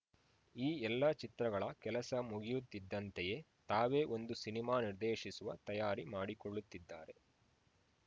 ಈ ಎಲ್ಲ ಚಿತ್ರಗಳ ಕೆಲಸ ಮುಗಿಯುತ್ತಿದ್ದಂತೆಯೇ ತಾವೇ ಒಂದು ಸಿನಿಮಾ ನಿರ್ದೇಶಿಸುವ ತಯಾರಿ ಮಾಡಿಕೊಳ್ಳುತ್ತಿದ್ದಾರೆ